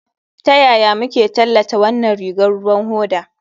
Ta yaya muke tallata wannan rigar ruwan hoda?